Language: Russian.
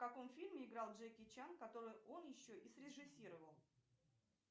в каком фильме играл джеки чан который он еще и срежиссировал